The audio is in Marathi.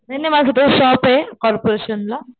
नाही नाही माझं तर शॉपे कॉर्पोरेशन ला.